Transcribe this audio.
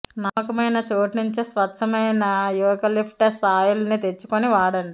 నమ్మకమైన చోటు నుంచే స్వచ్ఛమైన యూకలిఫ్టస్ ఆయిల్ ని తెచ్చుకుని వాడండి